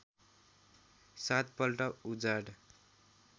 सात पल्ट उजाड